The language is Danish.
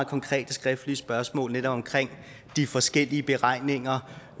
konkrete skriftlige spørgsmål netop om de forskellige beregninger